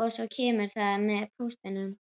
og svo kemur það með póstinum?